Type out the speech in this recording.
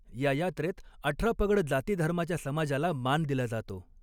या यात्रेत अठरापगड जातीधर्माच्या समाजाला मान दिला जातो.